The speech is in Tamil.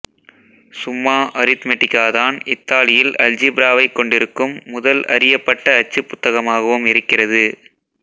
சும்மா அரித்மெடிகா தான் இத்தாலியில் அல்ஜீப்ராவைக் கொண்டிருக்கும் முதல் அறியப்பட்ட அச்சுப் புத்தகமாகவும் இருக்கிறது